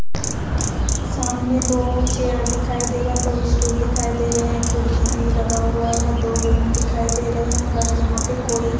सामने दो चेयर दिखाई दे रहे हैं दो स्टूल दिखाई दे रहे हैं खिड़की भी लगा हुआ है दो रूम दिखाई दे रहे हैं बट यहां पे कोई--